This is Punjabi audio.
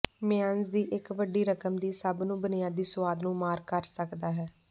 ਮੇਅਨੀਜ਼ ਦੀ ਇੱਕ ਵੱਡੀ ਰਕਮ ਦੀ ਸਭ ਨੂੰ ਬੁਨਿਆਦੀ ਸੁਆਦ ਨੂੰ ਮਾਰ ਕਰ ਸਕਦਾ ਹੈ